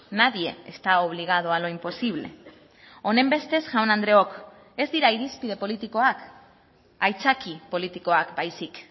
nadie está obligado a lo imposible honenbestez jaun andreok ez dira irizpide politikoak aitzaki politikoak baizik